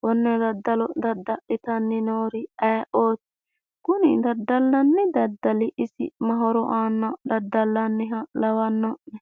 kone daddallo daddallittanni noori ayeeoti, kuni daddallanni daddali isi mayi horo aana daddallaniha lawano'ne ?